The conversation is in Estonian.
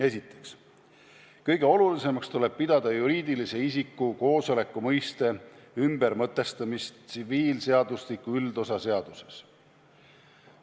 Esiteks, kõige olulisemaks tuleb pidada juriidilise isiku koosoleku mõiste ümbermõtestamist tsiviilseadustiku üldosa seaduses.